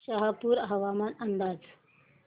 शहापूर हवामान अंदाज